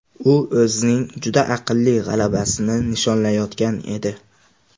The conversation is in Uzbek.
U o‘zining juda aqlli g‘alabasini nishonlayotgan edi.